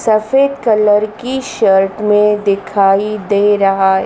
सफेद कलर की शर्ट में दिखाई दे रहा--